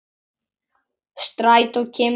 Strætó kemur ekki strax.